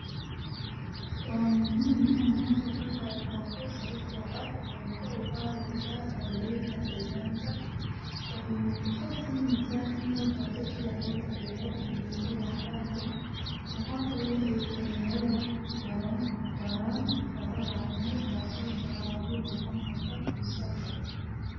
Wa muhim inan howshan kaqebqato sababto ah waxay kor uqadeysa daryelka deganka, waxayna fursad sineysa in labarto sidhi lobero gedo waxtar leh, waxakalo oo dalinyarta baran hirfado gacmed taso shaqa gacmed taso noqoni karto shaqa abuur mustaqbalka.